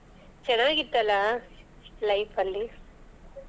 ಚೆನ್ನಾಗಿತ್ತಲ್ಲ life ಅಲ್ಲಿ.